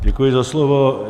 Děkuji za slovo.